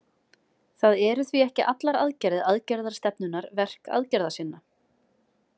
Það eru því ekki allar aðgerðir aðgerðarstefnunnar verk aðgerðasinna.